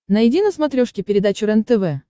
найди на смотрешке передачу рентв